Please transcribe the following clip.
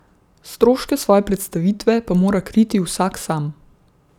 Stroške svoje predstavitve pa mora kriti vsak sam.